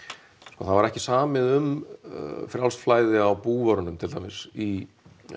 sko það var ekki samið um frjálst flæði á búvörunum til dæmis í